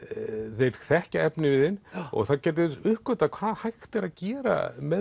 þeir þekkja efniviðinn og þeir gætu uppgötvað hvað hægt er að gera með